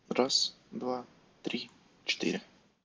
раз-два-три-четыре